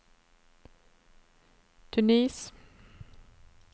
Tunis